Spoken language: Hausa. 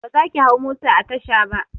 Ba zaki hau mota a tasha ba!